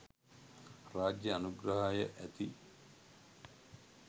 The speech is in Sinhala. රාජ්‍ය අනුග්‍රහය ඇති